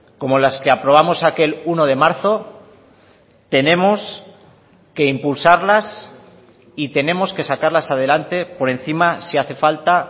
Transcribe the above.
como las que aprobamos aquel uno de marzo tenemos que impulsarlas y tenemos que sacarlas adelante por encima si hace falta